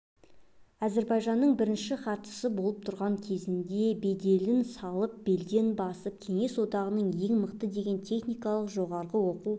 әзербайжанның бірінші хатшысы болып тұрған кезінде беделін салып белден басып кеңес одағындағы ең мықты деген техникалық жоғары оқу